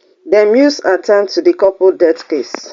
dem use at ten d to di couple death case